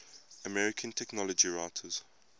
american technology writers